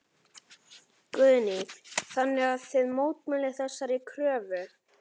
Guðný: Þannig að þið mótmælið þessari kröfu?